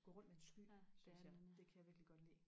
gå rundt med en sky synes jeg det kan jeg virkelig godt lide